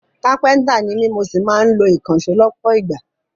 Kápẹ́ntà ni mí mo sì máa ń lo ìkànṣó lọ́pọ̀ ìgbà